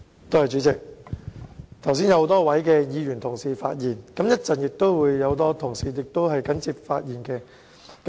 主席，剛才有很多位議員同事發言，稍後亦會有其他同事緊接發言。